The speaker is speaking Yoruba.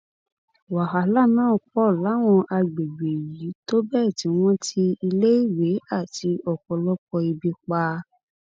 wàhálà náà pọ láwọn àgbègbè yìí tó bẹẹ tí wọn ti iléèwé àti ọpọlọpọ ibi pa